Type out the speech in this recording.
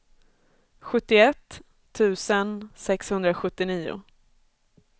sjuttioett tusen sexhundrasjuttionio